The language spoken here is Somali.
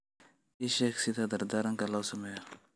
ii sheeg sida dardaaranka loo sameeyo